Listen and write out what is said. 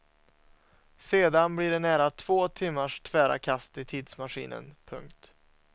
Sedan blir det nära två timmars tvära kast i tidsmaskinen. punkt